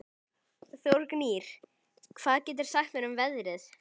Þórgnýr, hvað geturðu sagt mér um veðrið?